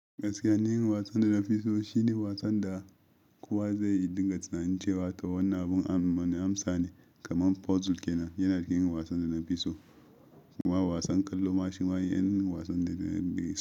Gaskiya ni, irin wasan da nafi so shine wasan da kowa zai dinga tunanin cewa to wannan abun am wane amsa ne kamar puzzle kenan. Yana irin wasan da nafi so kuma wasan kallo ma shi ma yan wasan da nafi so.